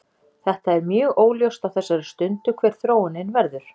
Þetta er mjög óljóst á þessari stundu hver þróunin verður.